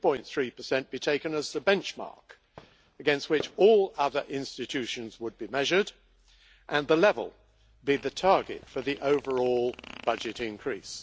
2.3 be taken as the benchmark against which all other institutions would be measured, and the level be the target for the overall budget increase.